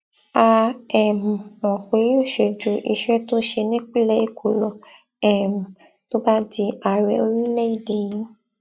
a um mọ pé yóò ṣe ju iṣẹ tó ṣe nípínlẹ èkó lọ um tó bá di ààrẹ orílẹèdè yìí